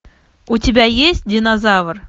у тебя есть динозавр